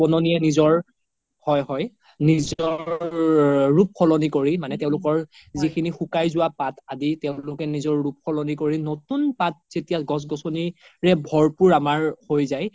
নিজৰ হয় হয় নিজৰ ৰুপ সলনি কৰি মানে তেওলোকৰ যিখিনি সুকাই যোৱা পাত আদি তেওলোকে নিজৰ ৰুপ সলনি কৰি যেতিয়া গ্ছ গ্ছ্নি ভৰ পোৰ আমাৰ হৈ যাই